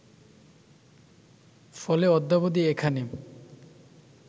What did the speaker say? ফলে অদ্যাবধি এখানে